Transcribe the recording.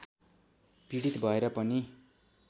पीडित भएर पनि